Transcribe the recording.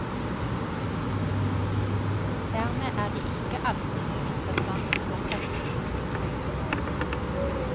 Dermed er det ikke alltid så interessant å presse prisen høyest mulig.